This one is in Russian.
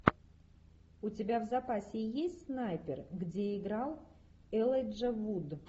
у тебя в запасе есть снайпер где играл элайджа вуд